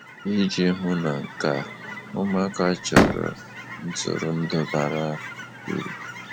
Iji hụ na nke a, ụmụaka chọrọ ntụrụndụ bara uru.